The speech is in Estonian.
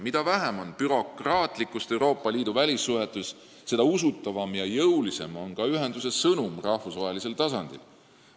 Mida vähem on bürokraatlikkust Euroopa Liidu välissuhetes, seda usutavam ja jõulisem on ka ühenduse sõnum rahvusvahelisel tasandil.